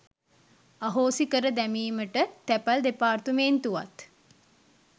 අහෝසි කර දැමීමට තැපැල් දෙපාර්තමේන්තුවත්